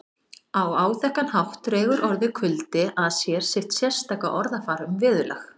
Á áþekkan hátt dregur orðið kuldi að sér sitt sérstaka orðafar um veðurlag